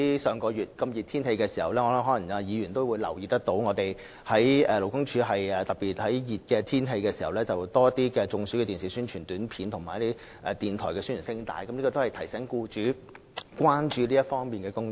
上月天氣炎熱，議員可能也留意到，勞工處已特別在天氣炎熱期間多加播放預防中暑的電視宣傳短片及電台宣傳聲帶，提醒僱主須為預防僱員中暑多下工夫。